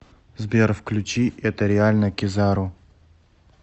сбер включи это реально кизару